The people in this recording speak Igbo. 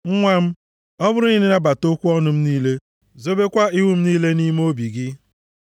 Nwa m, ọ bụrụ na ị nabata okwu ọnụ m niile zobekwa iwu m niile nʼime obi gị,